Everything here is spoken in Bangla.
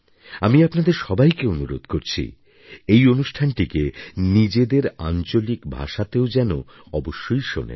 আমি আপনাদের সবাইকে অনুরোধ করছি এই অনুষ্ঠানটিকে নিজেদের আঞ্চলিক ভাষাতেও যেন অবশ্যই শোনেন